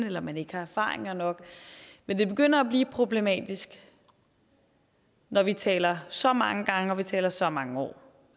eller man ikke har erfaringer nok men det begynder at blive problematisk når vi taler så mange gange og vi taler så mange år